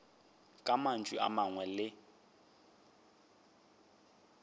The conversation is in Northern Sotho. ka mantšu a mangwe le